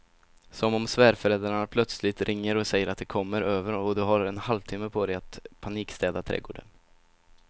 Som om svärföräldrarna plötsligt ringer och säger att de kommer över och du har en halvtimme på dig att panikstäda trädgården.